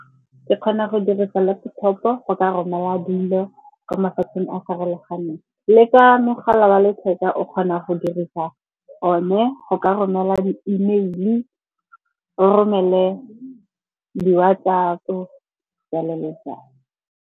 Ke kgona go dirisa laptop-o go ka romela dilo kwa mafatsheng a farologaneng. Le ka mogala wa letheka o kgona go dirisa o ne go ka romela di-email-e, o romele di-WhatsApp-o jalo le jalo.